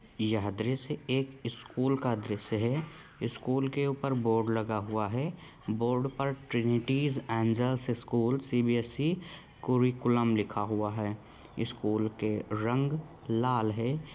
द्रश्य एक स्कुल का द्रश्य है इस स्कुल के ऊपर बोर्ड लगा हुआ है बोर्ड पे Trinity Angels school school CBSC. Curriculum लिखा हुआ है स्कुल के रंग लाल है।